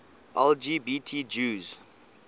lgbt jews